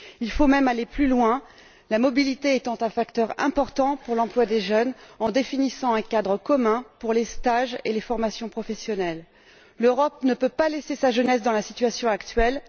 Il faut même aller plus loin la mobilité étant un facteur important pour l'emploi des jeunes en définissant un cadre commun pour les stages et les formations professionnelles. L'Europe ne peut pas laisser sa jeunesse dans la situation actuelle.